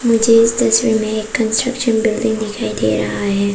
मुझे इस तस्वीर में एक कंस्ट्रक्शन बिल्डिंग दिखाई दे रहा है।